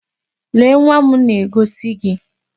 Lee nwa m na-egosi gi!